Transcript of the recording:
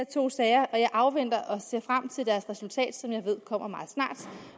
to sager og jeg afventer og ser frem til deres resultat som jeg ved kommer meget snart